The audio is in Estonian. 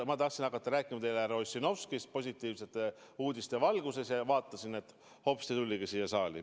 Ma tahtsin hakata rääkima härra Ossinovskist positiivsete uudiste valguses ja näen, et hopsti, tuligi siia saali.